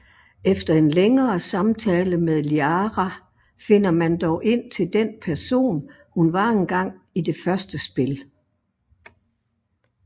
Efter en længere samtale med Liara finder man dog ind til den person hun var engang i det første spil